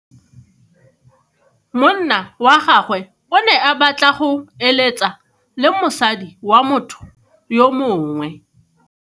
Monna wa gagwe o ne a batla go eletsa le mosadi wa motho yo mongwe.